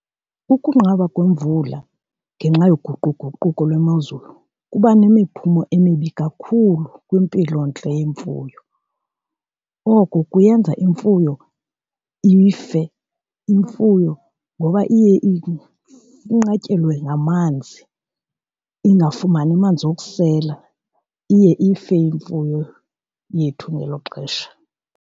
Ukunqaba kwemvula ngenxa yoguquguquko lwemozulu kuba nemiphumo emibi kakhulu kwimpilontle yemfuyo. Oko kuyenza imfuyo ife, imfuyo ngoba iye inqatyelwe ngamanzi ingafumani manzi okusela, iye ife imfuyo yethu ngelo xesha.